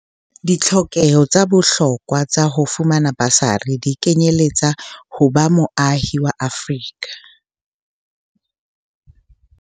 Ditlhokeho tsa bohlokwa tsa ho fumana basari di kenyeletsa ho ba moahi wa Afrika